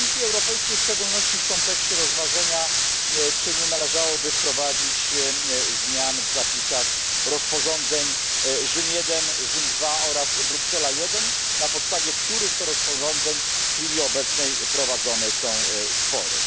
Do Komisji Europejskiej w szczególności w kontekście rozważenia, czy nie należałoby wprowadzić zmian w zapisach rozporządzeń Rzym I, Rzym II oraz Bruksela I, na podstawie których to rozporządzeń w chwili obecnej prowadzone są spory.